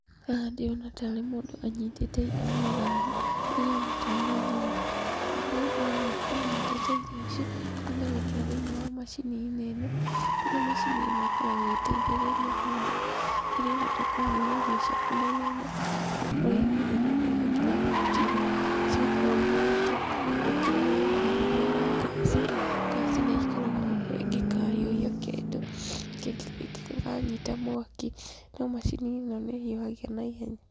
Haha ndĩrona tarĩ mũndũ anyitĩte irio na thani, ndĩrona tarĩ nyama. Mũndũ ũyũ aroneka anyitĩte irio ici, arenda gwĩkĩra thĩinĩ wa macini-inĩ ĩno, kũrĩa macini ĩno ĩkoragwo ĩgĩtaithĩrĩria mũndũ rĩrĩa ũrenda kũhiũhia irio ciaku naihenya, nĩgũkorwo ĩhiũhagia na ndagĩka nginya fifteen , cigakorwo ihiũhĩte, gũkĩra rĩrĩa ũrahiũhia na ngaci, ngaci nĩikaraga mũno ĩngĩkahiũhia kĩndũ, kĩngĩkanyita mwaki, no macini ĩno nĩ ĩhiũhagia naihenya.